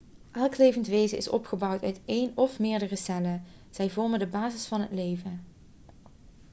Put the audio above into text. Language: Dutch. elk levend wezen is opgebouwd uit één of meerdere cellen zij vormen de basis van het leven